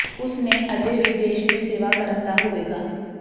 ਉਸ ਨੇ ਅਜੇ ਵੀ ਦੇਸ਼ ਦੀ ਸੇਵਾ ਕਰਨ ਦਾ ਹੋਵੇਗਾ